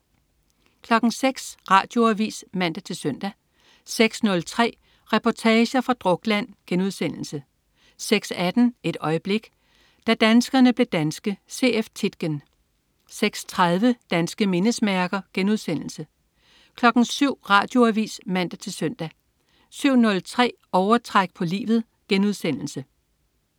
06.00 Radioavis (man-søn) 06.03 Reportager fra Drukland* 06.18 Et øjeblik. Da danskerne blev danske. C.F. Tietgen 06.30 Danske mindesmærker* 07.00 Radioavis (man-søn) 07.03 Overtræk på livet*